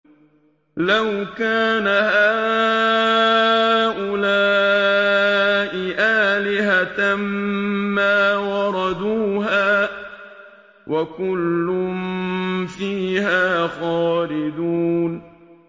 لَوْ كَانَ هَٰؤُلَاءِ آلِهَةً مَّا وَرَدُوهَا ۖ وَكُلٌّ فِيهَا خَالِدُونَ